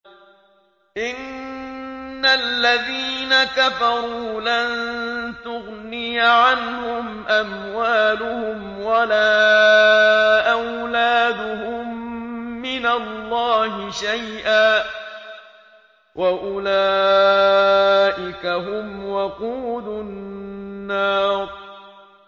إِنَّ الَّذِينَ كَفَرُوا لَن تُغْنِيَ عَنْهُمْ أَمْوَالُهُمْ وَلَا أَوْلَادُهُم مِّنَ اللَّهِ شَيْئًا ۖ وَأُولَٰئِكَ هُمْ وَقُودُ النَّارِ